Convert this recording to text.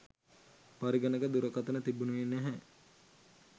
පරිගණක දුරකථන තිබුණේ නැහැ.